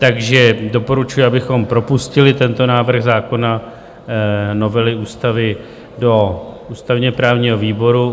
Takže doporučuji, abychom propustili tento návrh zákona, novely ústavy do ústavně-právního výboru.